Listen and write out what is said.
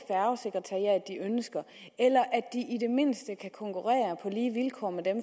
ønsker eller i det mindste kan konkurrere på lige vilkår med dem